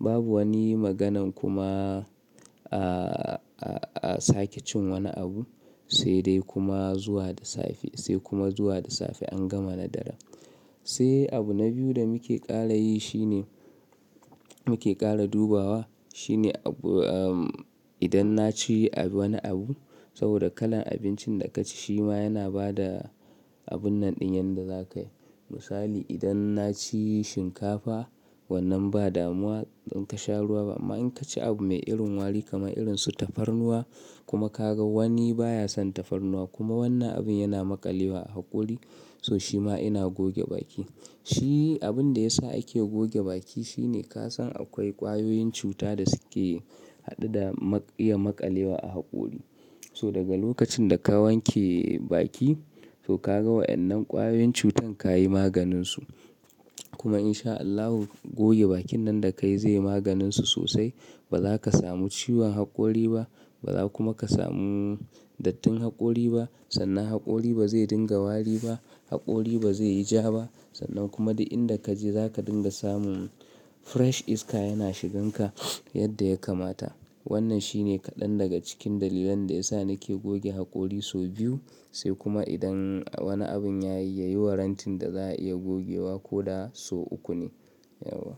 babu wani maganan kuma, ah, ah, ah sake cin woni abu sai dai kuma zuwa da safe, sai kuma zuwa da safe an gama nadara. Sai abu na biyu da muke ƙara yi shine, muke ƙara dubawa shine abu-- idan na ci abu woni abu saboda kalan abincin da ka ci shima yana bada abun nan ɗin yanda zaka yi. Misali idan na ci shinkafa wannan ba damuwa don ka sha ruwa ba amma in ka ci abu mai irin wari kamar irin su tafarnuwa kuma ka ga woni baya son tafarnuwa kuma wannan abin yana maƙalewa a haƙori so shima ina goge baki. Shi abun da ya sa ake goge baki shine ka san akwai ƙwayoyin cuta da suke haɗe da maƙ-iya maƙalewa a haƙori. So daga lokacin da ka wanke baki to ka ga wa'yan nan ƙwayoyin cutan ka yi maganin su. Kuma in sha Allahu goge bakin nan da ka yi zai yi maganin su sosai. Ba zaka samu ciwon haƙori ba, ba zaka kuma ka samu dattin haƙori ba. Sannan haƙori ba zai dinga wari ba, haƙori ba zai yi ja ba. Sannan kuma duk inda kaje zaka dinga samun fresh iska yana shigan ka yadda ya kamata. Wannan shine kaɗan daga cikin dalilan da ya sa nake goge haƙori so biyu sai kuma idan woni abun ya yi, ya yi warrantin da za a iya gogewa ko da so uku ne. Yauwa.